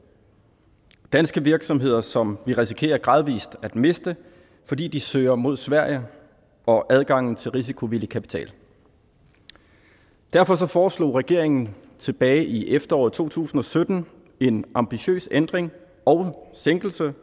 danske virksomheder som vi risikerer gradvis at miste fordi de søger mod sverige og adgangen til risikovillig kapital derfor foreslog regeringen tilbage i efteråret to tusind og sytten en ambitiøs ændring og sænkelse